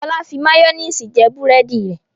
Fọlá fi máyónísì jẹ búrẹ́dì rẹ̀.